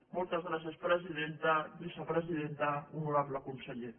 moltes gràcies presidenta vicepresidenta honorable conseller